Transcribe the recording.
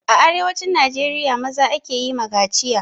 A arewacin najeriya, maza ake yi ma kaciya.